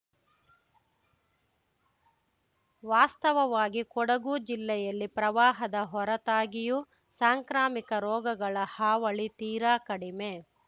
ವಾಸ್ತವವಾಗಿ ಕೊಡಗು ಜಿಲ್ಲೆಯಲ್ಲಿ ಪ್ರವಾಹದ ಹೊರತಾಗಿಯೂ ಸಾಂಕ್ರಾಮಿಕ ರೋಗಗಳ ಹಾವಳಿ ತೀರಾ ಕಡಿಮೆ